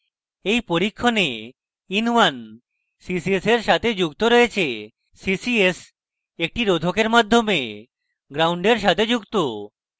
in পরীক্ষণে in1 ccs in সাথে যুক্ত রয়েছে ccs একটি রোধকের মাধ্যমে ground gnd in সাথে যুক্ত